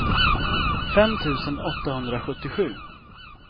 fem tusen åttahundrasjuttiosju